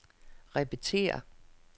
repetér